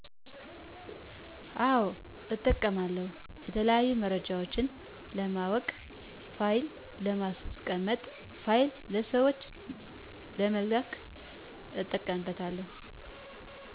አወ እጠቀማለሁ የተለያዩ መረጃወችን ለማወቅ ፋይል ለማስቀመጥ ፋይል ለሠወች ለመላክ እጠቀምበታለሁ።